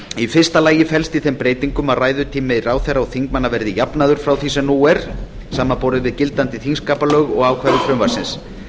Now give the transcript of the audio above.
í fyrsta lagi felst í þeim breytingum að ræðutími ráðherra og þingmanna verði jafnaður frá því sem nú er samanborið við gildandi þingskapalög og ákvæði frumvarpsins